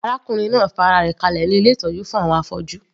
Arákùnrin náà fa ara rẹ̀ kalẹ̀ ní ilé ìtọ́jú fún àwọn afọ́jú.